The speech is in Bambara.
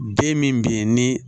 Den min bɛ yen ni